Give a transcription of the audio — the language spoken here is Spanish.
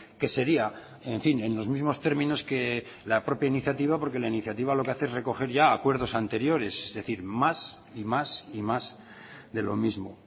que sería en fin en los mismos términos que la propia iniciativa porque la iniciativa lo que hace es recoger ya acuerdos anteriores es decir más y más y más de lo mismo